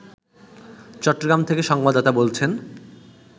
চট্টগ্রাম থেকে সংবাদদাতা বলছেন